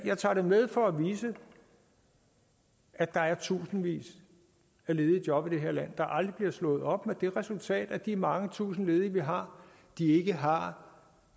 jeg tager det med for at vise at der er tusindvis af ledige job i det her land der aldrig bliver slået op med det resultat at de mange tusinde ledige vi har ikke har